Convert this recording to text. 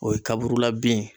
O ye kaburula bin ye.